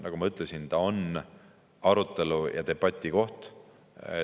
Nagu ma ütlesin, see on arutelu‑ ja debatikoht.